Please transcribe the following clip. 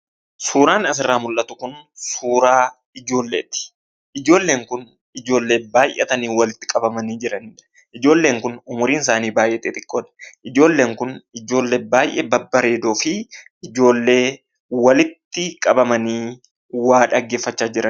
Suuraan asirraa mul'atu kun suuraa ijoolleeti. Ijoolleen kun ijoollee baay'atanii walitti qabamanii jiranidha. Ijoolleen kun umuriin isaanii baay'ee xixiqqoodha. Ijoolleen kun ijoollee baay'ee babbareedoo fi ijoollee walitti qabamanii waa dhaggeeffachaa jirani.